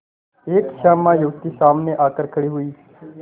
एक श्यामा युवती सामने आकर खड़ी हुई